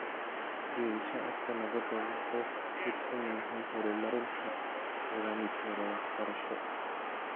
Geedi-socodka nabadda wuxuu ku tiirsan yahay horumarinta nidaamkeeda waxbarasho.